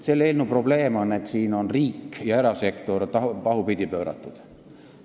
Selle eelnõu probleem on, et siin on riik ja erasektor pahupidi pööratud.